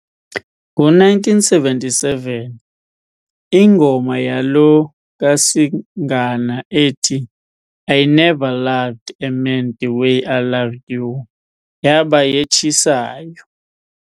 Ngo1977, ingoma yalo kaSingana ethi "I Never Loved a Man the Way I Loved You" yaba yetshisayo.